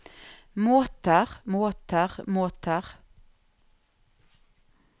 måter måter måter